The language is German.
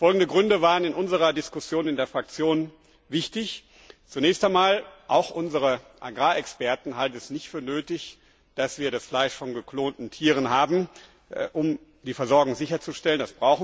Folgende Gründe waren in unserer Diskussion in der Fraktion wichtig Zunächst einmal auch unsere Agrarexperten halten es nicht für nötig, dass wir das Fleisch von geklonten Tieren haben, um die Versorgung sicherzustellen.